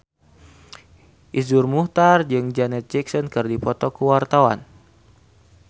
Iszur Muchtar jeung Janet Jackson keur dipoto ku wartawan